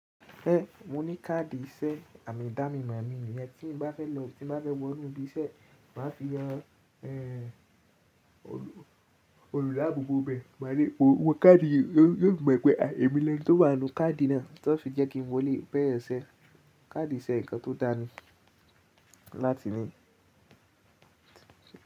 Be mo ní káàdì ìṣe, àmì idánimọ̀ mi nu. Iyen tí n bá fẹ́ lọ, tí n bá fẹ́ wọnú ibi iṣẹ́, máa fi han, olùdaàbọ̀bọ̀ ibẹ máa ríi pé wó káàdì yóò, yóò ti mọ̀ pé emi ni ẹni tó wà nínú káàdì náà, tan fi jẹ́ kí n wòlè bẹ̀yẹ̀n ṣẹ́. Káàdì ṣe nǹkan tó dá ni láti ní iṣẹ́.